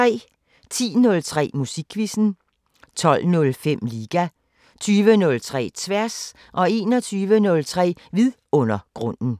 10:03: Musikquizzen 12:05: Liga 20:03: Tværs 21:03: Vidundergrunden